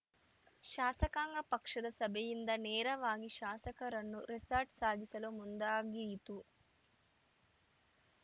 ಶಾಸಕಾಂಗ ಪಕ್ಷದ ಸಭೆಯಿಂದ ನೇರವಾಗಿ ಶಾಸಕರನ್ನು ರೆಸಾರ್ಟ್‌ ಸಾಗಿಸಲು ಮುಂದಾಗಿಯಿತು